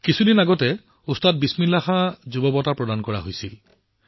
কেইদিনমান আগতে ওস্তাদ বিছমিল্লা খান যুৱ পুৰস্কাৰ প্ৰদান কৰা হৈছিল